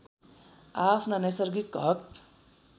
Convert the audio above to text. आआफ्ना नैसर्गिक हक